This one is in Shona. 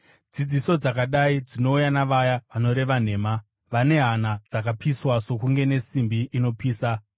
Dzidziso dzakadai dzinouya navaya vanoreva nhema, vane hana dzakapiswa sokunge nesimbi inopisa.